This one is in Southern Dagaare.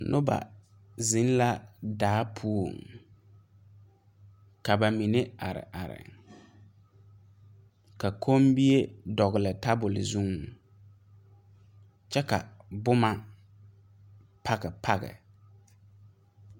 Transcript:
Noba zeŋ la daa poɔŋ ka ba mine are are ka kommie dɔgle tabole zuŋ kyɛ ka bomma page page.